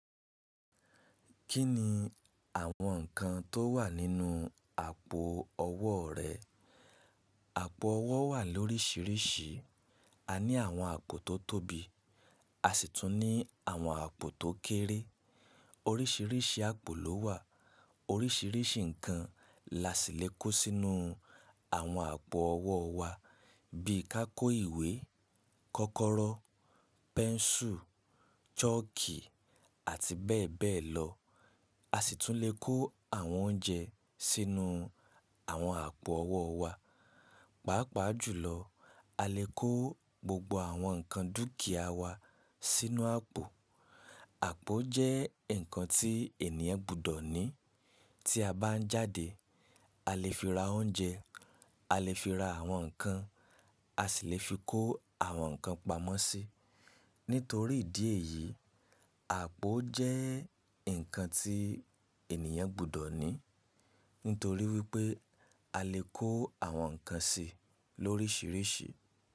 Kí ni àwọn ǹkan tó wà nínú àpò ọwọ́ rẹ? Àpò ọwọ́ wà lóríṣiríṣi. A ní àwọn àpò tó tóbi, a sì tún ní àwọn àpò tó kéré. Oríṣiríṣi àpò ló wà. Oríṣiríṣi ǹkan la sì lè kó sínú àwọn àpò ọwọ́ wa bí i ká kó ìwé, kọ́kọ́rọ́, pẹ́ńsù, chọ́ọ̀kì àti bẹ́ẹ̀ bẹ́ẹ̀ lọ. A sì tún lè kó àwọn oúnjẹ sínú àwọn àpò ọwọ́ wa. Pàápàá jùlọ, a lè kó gbogbo àwọn ǹkan dúkìá wa sínú àpò. Àpò jẹ́ ǹkan tí ènìyàn gbọdọ̀ ní. Tí a bá ń jáde, a lè fi ra oúnjẹ, a lè fi ra àwọn ǹkan, a sì lè fi kó àwọn ǹkan pamọ́ sí. Nítorí ìdí èyí, àpò jẹ́ ǹkan tí ènìyàn gbọdọ̀ ní. Nítorí wípé a lè kó àwọn ǹkan sí i lóríṣiríṣi.